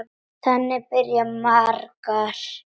Þannig byrja margar.